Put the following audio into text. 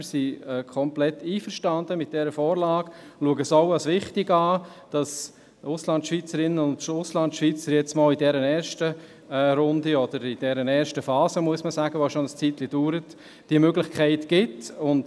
Wir sind mit dieser Vorlage vollständig einverstanden und erachten es auch als wichtig, dass Auslandschweizerinnen und Auslandschweizer in dieser ersten Phase, die schon eine Weile andauert, diese Möglichkeit haben.